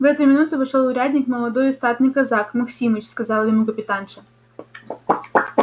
в эту минуту вошёл урядник молодой и статный казак максимыч сказала ему капитанша